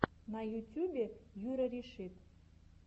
на ютьюбе юрарешит